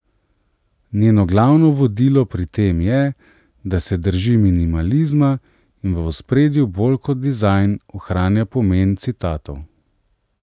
Njeno glavno vodilo pri tem je, da se drži minimalizma in v ospredju bolj kot dizajn ohranja pomen citatov.